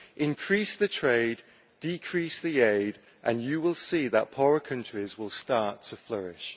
Increase the trade, decrease the aid and you will see that poorer countries will start to flourish.